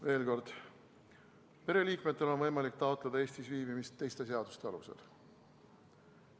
Veel kord: pereliikmetel on võimalik taotleda Eestis viibimist teiste seaduste alusel.